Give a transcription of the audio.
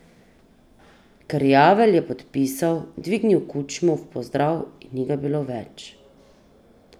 Krjavelj je podpisal, dvignil kučmo v pozdrav in ni ga bilo več.